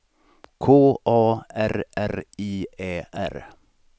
K A R R I Ä R